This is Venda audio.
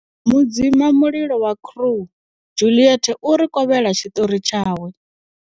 Mudzima mulilo wa Crew Juliet u ri kovhela tshiṱori tshawe.